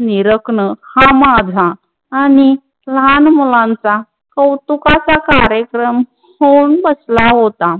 निराकनं हा माझा आणि लहान मुलांचा कौतुकाच कार्यक्रम होऊन बसला होता.